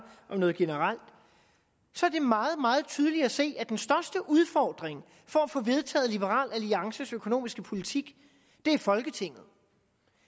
om noget generelt så er det meget meget tydeligt at se at den største udfordring for at få vedtaget liberal alliances økonomiske politik er folketinget